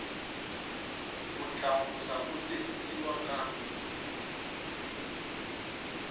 ku tlakusa ku tirhisiwa ka